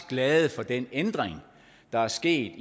glade for den ændring der er sket